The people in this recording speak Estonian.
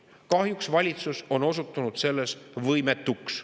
Kahjuks valitsus on osutunud selles võimetuks.